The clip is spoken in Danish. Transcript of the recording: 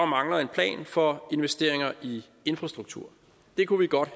mangler en plan for investeringer i infrastruktur det kunne vi godt